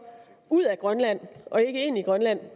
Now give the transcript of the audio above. ud af grønland og ikke ind i grønland